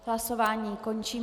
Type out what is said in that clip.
Hlasování končím.